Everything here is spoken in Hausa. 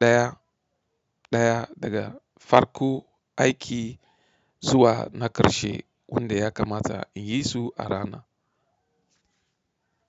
ɗaya-ɗaya daga farko aiki zuwa na ƙarshe wanda ya kamata in yi su a rana.